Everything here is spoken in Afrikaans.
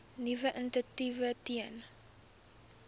nuwe initiatiewe ten